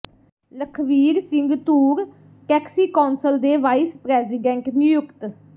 Lakhvir Singh Toor taxi council ਦੇ vice president ਨਿਯੁਕਤ